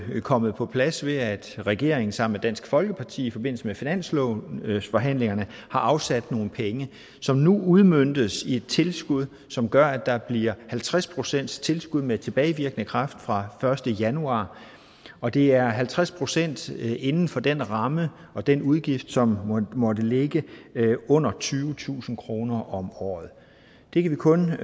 er kommet på plads ved at regeringen sammen med dansk folkeparti i forbindelse med finanslovsforhandlingerne har afsat nogle penge som nu udmøntes i et tilskud som gør at der bliver halvtreds procent tilskud med tilbagevirkende kraft fra første januar og det er halvtreds procent inden for den ramme og den udgift som måtte ligge under tyvetusind kroner om året vi kan kun